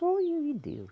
Só eu e Deus.